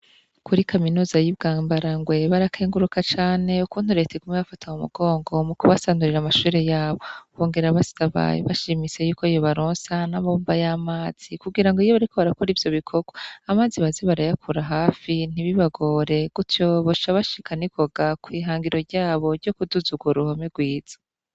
Kuri kaminuza y'ibwambara ngoebarakenguruka cane uku ntureta ikume bafata mu mugongo mu kubasandurira amashure yabo bongera basitabaye bashimise yuko yobaronsa n'abomba y'amazi kugira ngo iyo bariko barakora ivyo bikorwa amazi bazi barayakura hafi ntibibagore gutyobosha bashikanikoga kw'ihangiro ryabo ryo kuduzugwa wo ruhome rwiza.